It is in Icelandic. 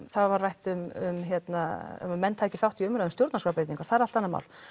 það var rætt um að menn tækju þátt í umræðunni um stjórnarskrárbreytingar það er allt annað mál